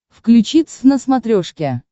включи твз на смотрешке